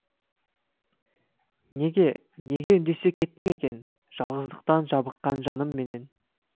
неге неге үндесе кеттің екен жалғыздықтан жабыққан жанымменен